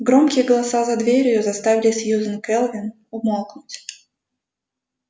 громкие голоса за дверью заставили сьюзен кэлвин умолкнуть